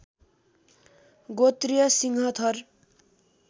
गोत्रीय सिंह थर